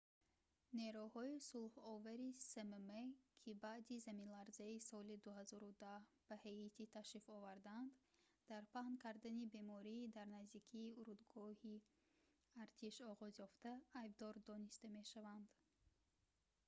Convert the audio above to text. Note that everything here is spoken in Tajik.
нерӯҳои сулҳовари смм ки баъди заминларзаи соли 2010 ба ҳаитӣ ташриф оварданд дар паҳн кардани бемории дар наздикии урдугоҳи артиш оғозёфта айбдор дониста мешаванд